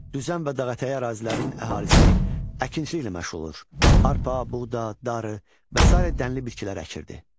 Düzən və dağətəyi ərazilərinin əhalisi əkinçiliklə məşğul olur, arpa, buğda, darı və sairə dənlə bitkilər əkirdi.